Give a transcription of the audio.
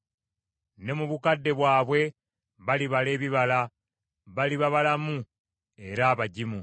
Ne mu bukadde bwabwe balibala ebibala; baliba balamu era abagimu,